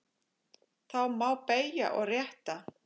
Þá má beygja og rétta.